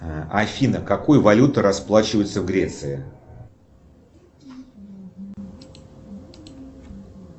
афина какой валютой расплачиваются в греции